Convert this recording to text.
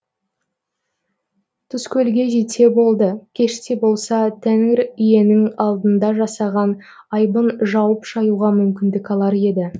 тұзкөлге жетсе болды кеш те болса тәңір иенің алдында жасаған айыбын жуып шаюға мүмкіндік алар еді